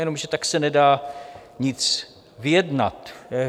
Jenomže tak se nedá nic vyjednat.